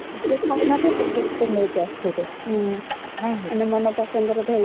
ନିଜେ ଖାଇବା ପାଇଁ କେତେ କଣ ନେଇକି ଆସିଥିବେ